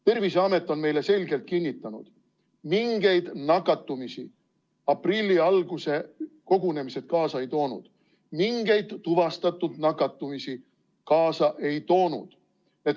Terviseamet on meile selgelt kinnitanud: mingeid nakatumisi aprilli alguse kogunemised kaasa ei toonud, mingeid tuvastatud nakatumisi kaasa ei toonud.